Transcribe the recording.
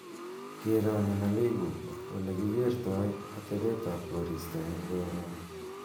kero nina iigu olegogigerto atebetab ab koristo korun